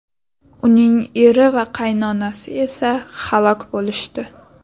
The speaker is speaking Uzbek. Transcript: Uning eri va qaynonasi esa halok bo‘lishdi.